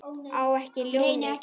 Á ekki ljónið.